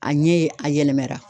A ɲɛ a yɛlɛmɛra